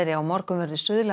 á morgun verður